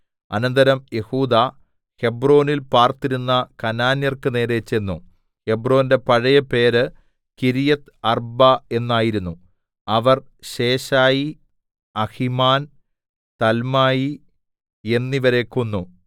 അനന്തരം യെഹൂദാ ഹെബ്രോനിൽ പാർത്തിരുന്ന കനാന്യർക്കു നേരെ ചെന്നു ഹെബ്രോന്റെ പഴയ പേര് കിര്യത്ത്അർബ്ബാ എന്നായിരുന്നു അവർ ശേശായി അഹിമാൻ തൽമായി എന്നിവരെ കൊന്നു